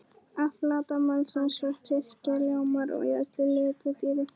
að flatarmáli, svo kirkjan ljómar öll í litadýrð.